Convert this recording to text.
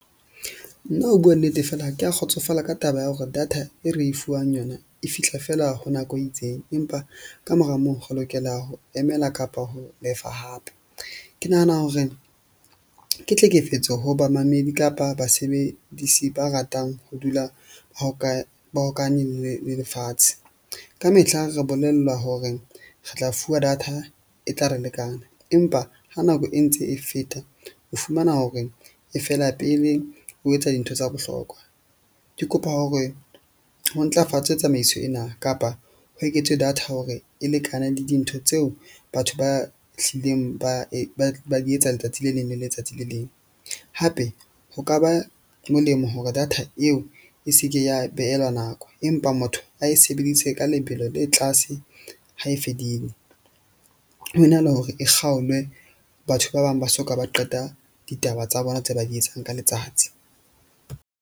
Nna ho bua nnete, fela ha ke a kgotsofala ka taba ya hore data e re e fuwang yona e fihla fela ho nako e itseng. Empa ka mora moo re lokela ho emela kapa ho lefa hape. Ke nahana hore ke tlhekefetso ho bamamedi kapa basebedisi ba ratang ho dula ba ba hokane le lefatshe. Kamehla re bolellwa hore re tla fuwa data e tla re lekana, empa ha nako e ntse e feta o fumana hore e fela pele o etsa dintho tsa bohlokwa. Ke kopa hore ho ntlafatswe tsamaiso ena kapa ho eketswe data hore e lekane le dintho tseo batho ba hlileng ba ba di etsa letsatsi le leng le letsatsi le leng. Hape ho ka ba molemo hore data eo e se ke ya behelwa nako. Empa motho a e sebedise ka lebelo le tlase ha e fedile, ho na le hore e kgaolwe, batho ba bang ba soka ba qeta ditaba tsa bona tse ba di etsang ka letsatsi.